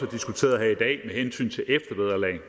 diskuteret her i dag med hensyn til eftervederlag